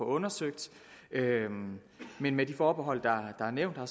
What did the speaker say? undersøgt men med de forbehold der er nævnt her